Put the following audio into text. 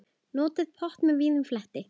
Notið pott með víðum fleti.